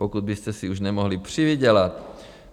Pokud byste si už nemohli přivydělat?